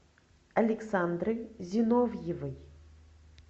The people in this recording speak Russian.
александры зиновьевой